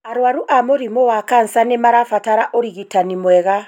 Arũaru a mũrimũ wa kansa nĩ marabatara ũrigitani mwega.